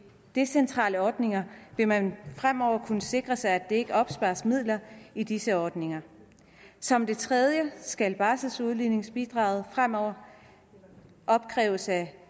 decentrale ordninger vil man fremover kunne sikre sig at der ikke opspares midler i disse ordninger som det tredje skal barseludligningsbidraget fremover opkræves af